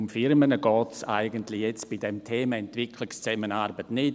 Um Firmen geht es eigentlich jetzt bei diesem Thema Entwicklungszusammenarbeit nicht.